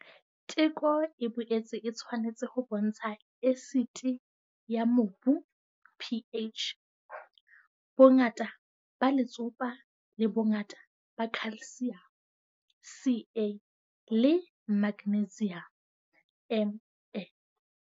Teko e boetse e tshwanetse ho bontsha esiti ya mobu P H, bongata ba letsopa le bongata ba calcium C A le magnesium M N.